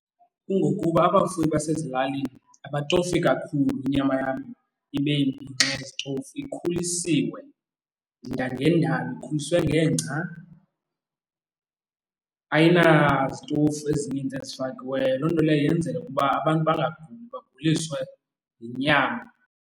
Kungokuba abafuyi basezilalini abatofi kakhulu inyama yabo ibe mbi ngenxa yezitofu, ikhulisiwe ngendalo. Ikhuliswe ngengca, ayinazitofu ezininzi ezifakiweyo. Loo nto leyo yenzela ukuba abantu bangaguli, baguliswe yinyama.